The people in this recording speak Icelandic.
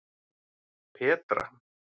Petra